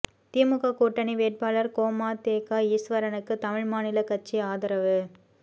திமுக கூட்டணி வேட்பாளர் கொமதேக ஈஸ்வரனுக்கு தமிழ் மாநில கட்சி ஆதரவு